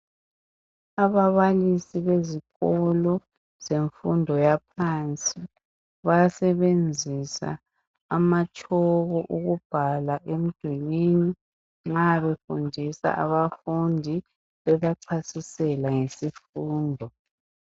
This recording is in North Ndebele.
Ababalisi bezikolo zemfundo yaphansi. Bayasebenzisa amatshoko, ukubhala emdulwini nxa befundisa abafundi. Bebachasisela ngesifundo.